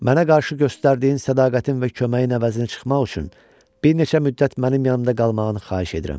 Mənə qarşı göstərdiyin sədaqətin və köməyin əvəzinə çıxmaq üçün bir neçə müddət mənim yanımda qalmağını xahiş edirəm.